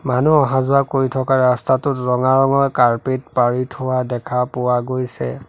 মানুহ অহা যোৱা কৰি থকা ৰাস্তাটোত ৰঙা ৰঙৰ কাৰ্পেট পাৰি থোৱা দেখা পোৱা গৈছে।